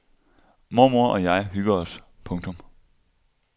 Mormor og jeg hygger os. punktum